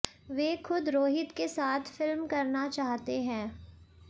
वे खुद रोहित के साथ फिल्म करना चाहते हैं